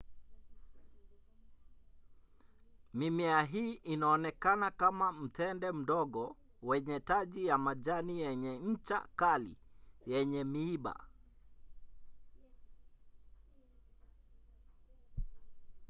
mimea hii inaonekana kama mtende mdogo wenye taji ya majani yenye ncha kali yenye miiba